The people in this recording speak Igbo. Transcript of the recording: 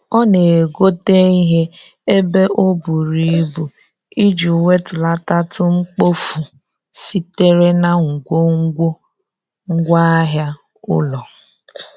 Ọ na-egote ihe ebe o buru ibu iji wetulatatụ mkpofu sitere na ngwongwo ngwaahịa ụlọ.